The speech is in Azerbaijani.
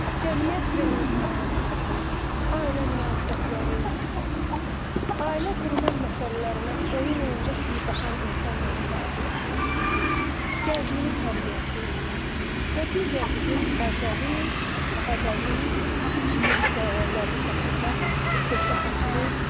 Cəmiyyət və insan, ailə münasibətləri, ailə qurmaq məsələlərinə oyuncaq kimi baxan insanların faciəsi, gəncliyin tərbiyəsi və digər bizim əzəli, əbədi milli dəyərlərimiz haqqında söhbət açılıb.